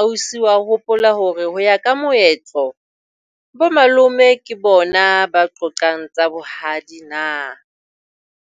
Ausi wa hopola hore ho ya ka moetlo bo malome ke bona ba qoqang tsa bohadi na?